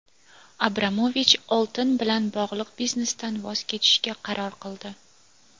Abramovich oltin bilan bog‘liq biznesidan voz kechishga qaror qildi.